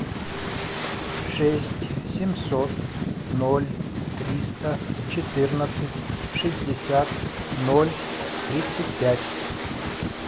шесть семьсот ноль триста четырнадцать шестьдесят ноль тридцать пять